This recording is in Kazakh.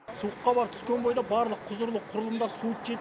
суық хабар түскен бойда барлық құзырлы құрылымдар суыт жетіп